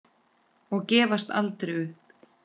Og gafst aldrei upp.